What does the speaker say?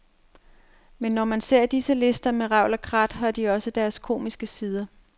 Men når man ser disse lister med revl og krat, har de også deres komiske sider.